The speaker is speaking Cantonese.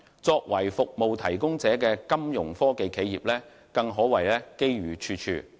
作為服務應用者的金融科技企業，更可謂機遇處處。